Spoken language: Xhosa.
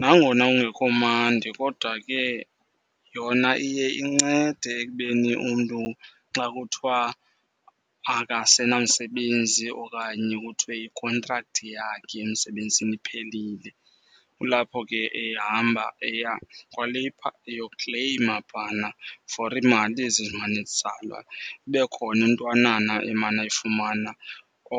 Nangona kungekho mandi kodwa ke yona iye incede ekubeni umntu xa kuthiwa akasenamsebenzi okanye kuthiwe i-contract yakhe emsebenzini iphelile. Kulapho ke ehamba eya kwaLabour eyokleyima phana for iimali ezi ezimane zitsalwa, ibe khona intwanana emana eyifumana